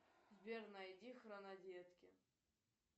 сбер найди хронодетки